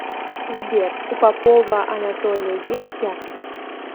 сбер у попова анатолия есть яхта